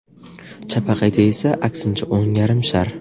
Chapaqayda esa aksincha o‘ng yarim shar.